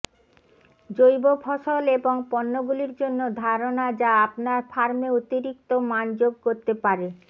জৈব ফসল এবং পণ্যগুলির জন্য ধারণা যা আপনার ফার্মে অতিরিক্ত মান যোগ করতে পারে